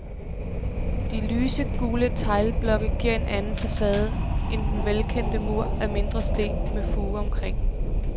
De lyse, gule teglblokke giver en anden facade end den velkendte mur af mindre sten med fuge omkring.